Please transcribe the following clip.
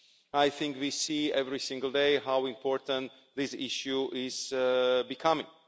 I think we see every single day how important this issue is becoming.